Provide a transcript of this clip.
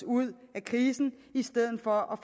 ud af krisen i stedet for